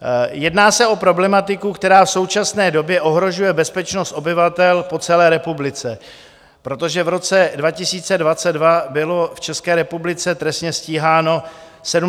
Jedná se o problematiku, která v současné době ohrožuje bezpečnost obyvatel po celé republice, protože v roce 2022 bylo v České republice trestně stíháno 75 474 osob.